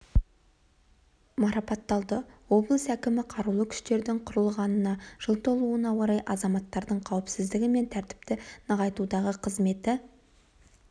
марапатталды облыс әкімі қарулы күштердің құрылғанына жыл толуына орай азаматтардың қауіпсіздігі мен тәртіпті нығайтудағы қызметі